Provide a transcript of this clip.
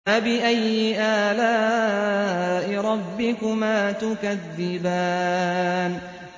فَبِأَيِّ آلَاءِ رَبِّكُمَا تُكَذِّبَانِ